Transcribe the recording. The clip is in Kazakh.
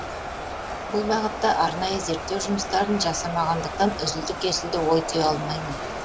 бұл бағытта арнайы зерттеу жұмыстарын жасамағандықтан үзілді кесілді ой түйе алмаймын